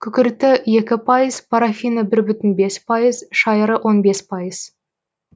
күкірті екі пайыз парафині бір бүтін бес пайыз шайыры он бес пайыз